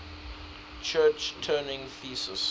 church turing thesis